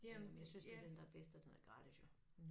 Øh jeg synes det den der bedst og den er gratis jo